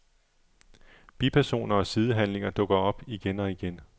Bipersoner og sidehandlinger dukker op igen og igen.